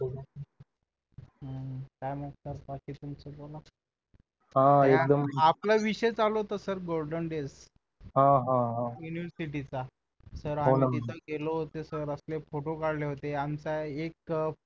काय म्हणता सर बाकी तुमचं बोला आपला विषय चालू होता सर golden days university चा सर आम्ही पण गेलो होतो सर आपले फोटो काढले होते आमचा एक